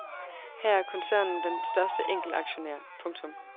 Her er koncernen den største enkeltaktionær. punktum